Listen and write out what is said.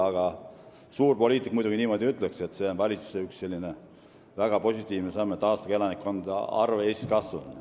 Aga suur poliitik muidugi ütleks niimoodi, et see on üks valitsuse astutud väga positiivne samm, et aastaga on elanike arv Eestis kasvanud.